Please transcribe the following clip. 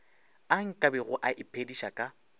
a nkabego a iphediša ka